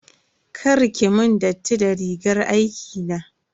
Kar ki mun datti da rigar aikina.